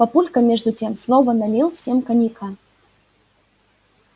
папулька между тем снова налил всем коньяка